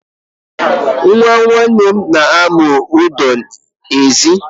Nwa nwanne m na-amụ ụdọ n'ezi.